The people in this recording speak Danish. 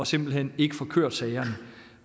simpelt hen ikke får kørt sagerne